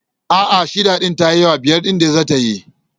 A'a, shida ta yi yawa, biyar ɗin dai za ta yi.